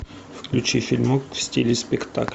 включи фильм в стиле спектакль